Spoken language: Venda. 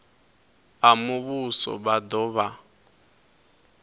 a muvhuso vha do vha